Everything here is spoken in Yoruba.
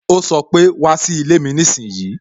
O sọ pé "wá sí ilé mi nísinsìnyí"